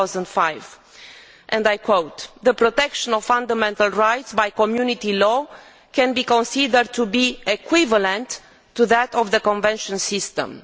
2005. I quote, The protection of fundamental rights by Community law can be considered to be equivalent to that of the convention system'.